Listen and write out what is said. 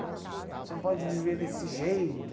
Você não pode viver desse jeito.